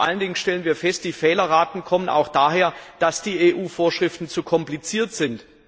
Vor allen Dingen stellen wir fest, die Fehlerraten kommen auch daher, dass die EU Vorschriften zu kompliziert sind.